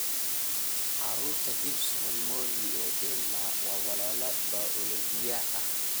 Carruurta Gibson, Molly iyo Emma, ​​waa walaalo bayooloji ah.